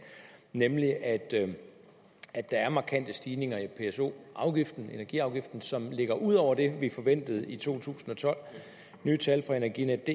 nemlig at der er markante stigninger i pso afgiften energiafgiften som ligger ud over det vi forventede i to tusind og tolv nye tal fra energinetdk